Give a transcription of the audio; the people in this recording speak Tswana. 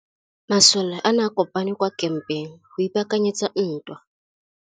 Masole a ne a kopane kwa kampeng go ipaakanyetsa ntwa.